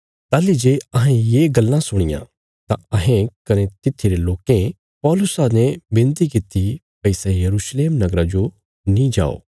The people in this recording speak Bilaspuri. ताहली जे अहें ये गल्लां सुणियां तां अहें कने तित्थीरे लोकें पौलुसा ने विनती कित्ती भई सै यरूशलेम नगरा जो नीं जाओ